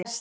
Ester